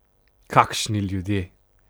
Kakšni ljudje!